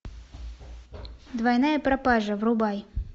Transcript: двойная пропажа врубай